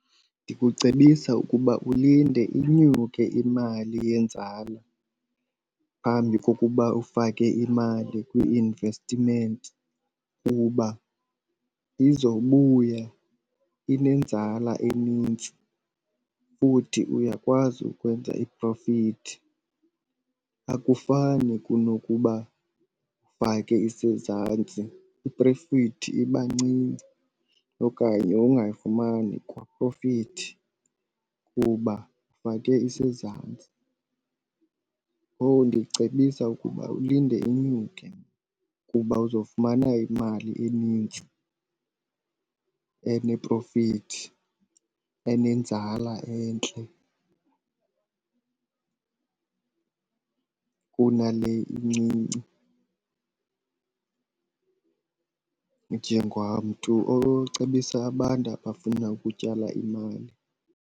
Ndikucebisa ukuba ulinde inyuke imali yenzala phambi kokuba ufake imali kwi-investment kuba izobuya inenzala enintsi futhi uyakwazi ukwenza iprofithi. Akufani kunokuba ufake isezantsi, iprofithi iba ncinci okanye ungayifumani kwaprofithi kuba ufake isezantsi. Ngoku ndicebisa ukuba ulinde inyuke kuba uzofumana imali enintsi eneprofithi, enenzala entle kunale incinci njengamntu ocebisa abantu abafuna ukutyala imali.